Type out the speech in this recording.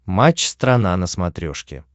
матч страна на смотрешке